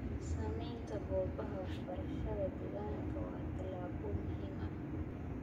Samaynta goobaha waxbarashada deegaanka waa tallaabo muhiim ah.